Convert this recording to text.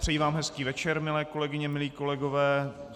Přeji vám hezký večer, milé kolegyně, milí kolegové.